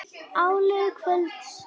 Áliðið kvölds.